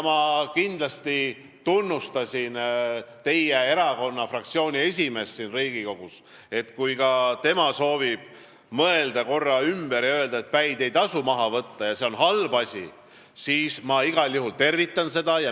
Ma tunnustasin teie fraktsiooni esimeest siin Riigikogus ja ütlesin, et kui ka tema soovib mõelda korra ümber ja öelda, et päid ei tasu maha võtta ja see on halb asi, siis ma igal juhul tervitan seda.